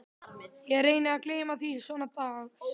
Ég reyni að gleyma því svona dags